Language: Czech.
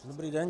Dobrý den.